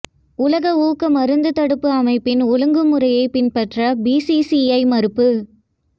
உலக ஊக்க மருந்து தடுப்பு அமைப்பின் ஒழுங்கு முறையை பின்பற்ற பிசிசிஐ மறுப்பு